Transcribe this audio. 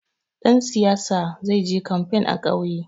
Ɗan siyaya zai je kamfen a ƙauye.